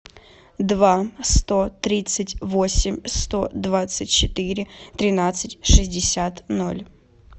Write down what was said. два сто тридцать восемь сто двадцать четыре тринадцать шестьдесят ноль